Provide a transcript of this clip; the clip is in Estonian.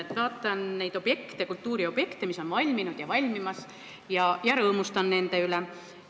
Ma vaatan neid kultuuriobjekte, mis on valminud ja valmimas, ja rõõmustan nende üle.